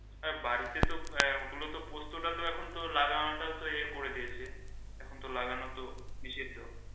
বাড়িতে তো এখন তো পোস্ত টাতো লাগানো এখন ইয়ে করে দিয়েছে এখন তো লাগান তো নিষেধ।